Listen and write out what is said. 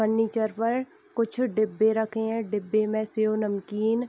furniture पर कुछ डिब्बे रखे हैं डिब्बे में शेव नमकीन --